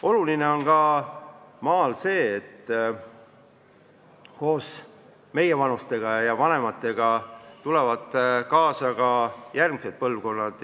Oluline on maalgi see, et koos meievanustega ja vanematega tulevad kaasa ka järgmised põlvkonnad.